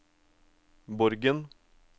Borgen